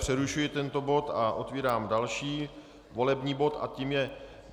Přerušuji tento bod a otevírám další volební bod a tím je